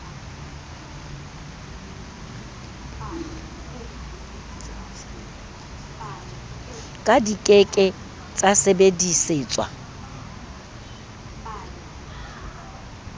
ka di ke ke tsasebedisetswa